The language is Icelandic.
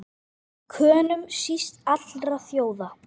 Könum síst allra þjóða!